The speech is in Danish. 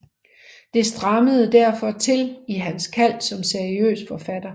Det strammede derfor til i hans kald som seriøs forfatter